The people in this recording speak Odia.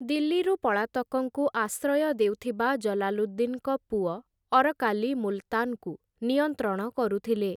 ଦିଲ୍ଲୀରୁ ପଳାତକଙ୍କୁ ଆଶ୍ରୟ ଦେଉଥିବା ଜଲାଲୁଦ୍ଦିନ୍‌ଙ୍କ ପୁଅ ଅରକାଲି ମୁଲତାନ୍‌କୁ ନିୟନ୍ତ୍ରଣ କରୁଥିଲେ ।